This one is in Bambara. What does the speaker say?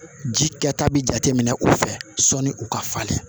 Ji kɛ ta bi jate minɛ u fɛ sɔnni u ka falen